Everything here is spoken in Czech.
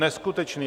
Neskutečné.